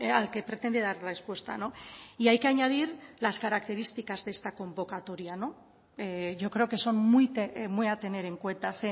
al que pretende dar respuesta y hay que añadir las características de esta convocatoria yo creo que son muy a tener en cuenta